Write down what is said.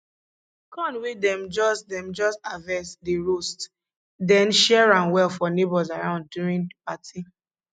corn wey dem just dem just harvest dey roast then share am well for neighbours around during the party